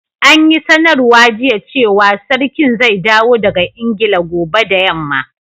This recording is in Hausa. An yi sanarwa jiya cewa sarkin zai dawo daga Ingila gobe da yamma.